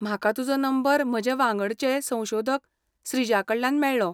म्हाका तुजो नंबर म्हजे वांगडचें संशोधक श्रीजाकडल्यान मेळ्ळो.